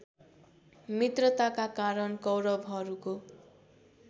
मित्रताका कारण कौरवहरूको